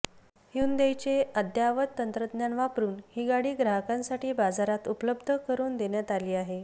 ह्युंदाईचे अद्ययावत तंत्रज्ञान वापरून ही गाडी ग्राहकांसाठी बाजारात उपलब्ध करून देण्यात आली आहे